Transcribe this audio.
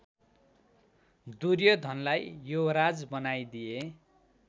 दुर्योधनलाई युवराज बनाइदिए